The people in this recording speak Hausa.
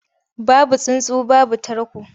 Babu tsuntsu babu tarko.